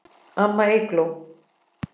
Amma Eygló.